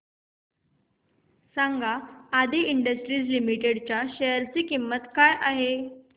सांगा Aadi Industries Limited च्या share ची किंमत किती आहे